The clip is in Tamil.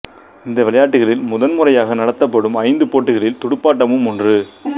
இந்த விளையாட்டுகளில் முதன்முறையாக நடத்தப்படும் ஐந்து போட்டிகளில் துடுப்பாட்டமும் ஒன்று